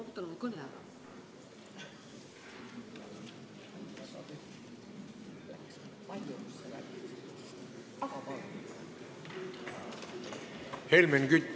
Helmen Kütt, palun!